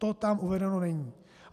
To tam uvedeno není.